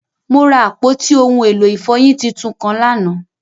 Mo ra apọti ohun elo ifọyin títún kan lánà.